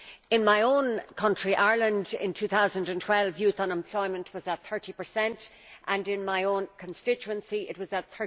In my own country, Ireland, in 2012 youth unemployment was at 30 and in my own constituency it was at